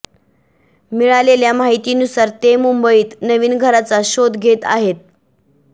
मिळालेल्या माहितीनुसार ते मुंबईत नवीन घराचा शोध घेत आहेत